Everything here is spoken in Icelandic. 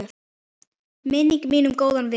Minning mín um góðan vin.